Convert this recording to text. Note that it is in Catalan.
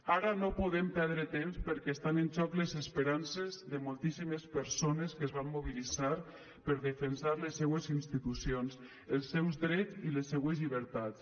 ara no podem perdre temps perquè estan en joc les esperances de moltíssimes persones que es van mobilitzar per defensar les seues institucions els seus drets i les seues llibertats